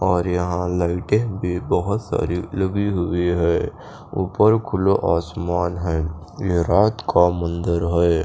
और यहाँ लाइटें भी बहुत सारी लगी हुई हैं ऊपर खुला आसमान है ये रात का मंदिर है।